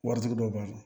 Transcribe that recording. Waritigi dɔ b'a la